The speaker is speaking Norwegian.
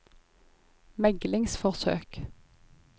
meglingsforsøk